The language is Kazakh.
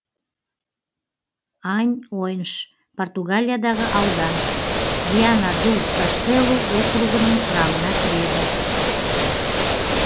аньойнш португалиядағы аудан виана ду каштелу округінің құрамына кіреді